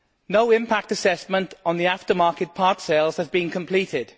No impact assessment on the aftermarket part sales has been completed.